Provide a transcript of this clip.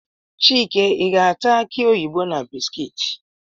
Chike ị ga-ata akị oyibo na bisikiiti?